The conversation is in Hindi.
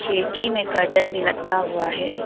खिड़की में कॉटन भी लटका हुआ है।